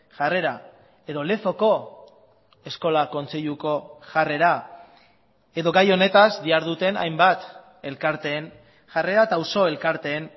jarrera edo lezoko eskola kontseiluko jarrera edo gai honetaz diharduten hainbat elkarteen jarrera eta auzo elkarteen